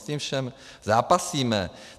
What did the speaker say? S tím vším zápasíme.